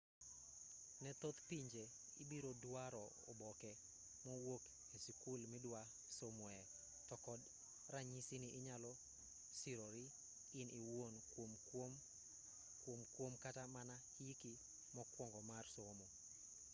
ne thoth pinje ibiro duaro oboke mowuok e sikul midwa somoe to kod ranyisi ni inyalo sirori in iwuon kuom kuom kata mana hiki mokuongo mar somo